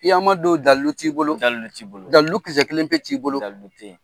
Kiyaman don dalu t'i bolo; Dalu t'i bolo; Dalu kisɛ kelen pe t'i bolo; Dalu tɛ yen.